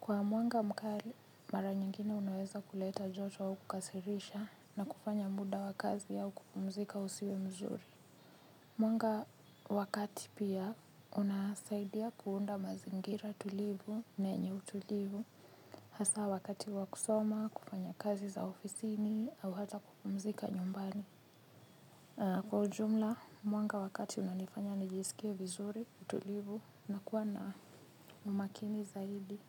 Kwa mwanga mkali mara nyingine unaweza kuleta jojo au kukasirisha na kufanya muda wakazi au kupumzika usiwe mzuri. Mwanga wakati pia unasaidia kuunda mazingira tulivu na enye utulivu. Hasa wakati wakusoma, kufanya kazi za ofisini au hata kupumzika nyumbani. Kwa ujumla, mwanga wakati unanifanya najisikie vizuri tulivu na kuwa na umakini zaidi.